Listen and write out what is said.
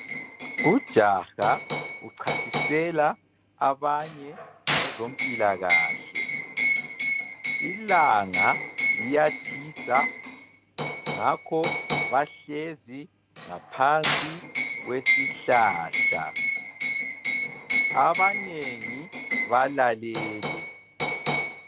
Ujaha uchasisela abanye ngezompilakahle, ilanga liyatshisa ngakho bahlezi ngaphansi kwesihlahla abanengi balalele.